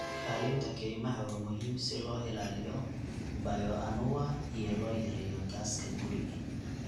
Ilaalinta kaymaha waa muhiim si loo ilaaliyo bioanuwa iyo loo yareeyo gaaska guri.